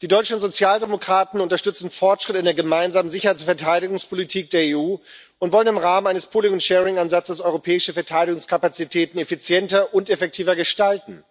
Die deutschen Sozialdemokraten unterstützen Fortschritte in der Gemeinsamen Sicherheits und Verteidigungspolitik der EU und wollen im Rahmen eines Ansatzes europäische Verteidigungskapazitäten effizienter und effektiver gestalten.